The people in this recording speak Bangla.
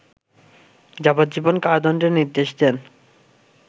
যাবজ্জীবন কারাদণ্ডের নির্দেশ দেন